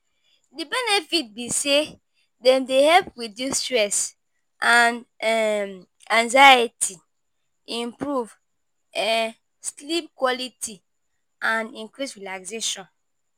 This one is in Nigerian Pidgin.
Di benefit be say dem dey help reduce stress and um anxiety, improve um sleep quality and increase relaxation.